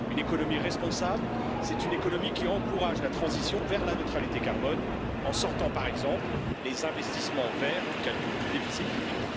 Une économie responsable, c'est une économie qui encourage la transition vers la neutralité carbone en sortant, par exemple, les investissements verts du calcul du déficit public.